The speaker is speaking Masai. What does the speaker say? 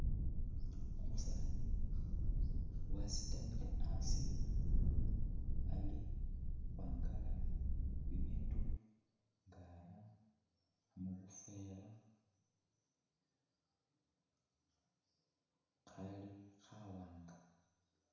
Umusani wasitamile asii Ali khukhwangala bibindu nga'ra mubufela Khali khawanga